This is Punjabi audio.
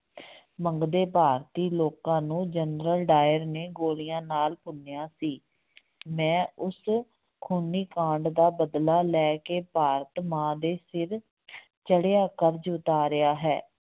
ਮੰਗਦੇ ਭਾਰਤੀ ਲੋਕਾਂ ਨੂੰ ਜਨਰਲ ਡਾਇਰ ਨੇ ਗੋਲੀਆਂ ਨਾਲ ਭੁੰਨਿਆ ਸੀ ਮੈਂ ਉਸ ਖੂਨੀ ਕਾਂਡ ਦਾ ਬਦਲਾ ਲੈ ਕੇ ਭਾਰਤ ਮਾਂ ਦੇ ਸਿਰ ਚੜ੍ਹਿਆ ਕਰਜ਼ ਉਤਾਰਿਆ ਹੈ।